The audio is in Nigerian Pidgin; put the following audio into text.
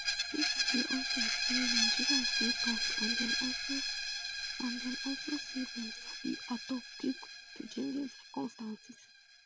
pipo dey of ten say nigerians dey tough and dem also say dem sabi adapt quick quick to changing circumstances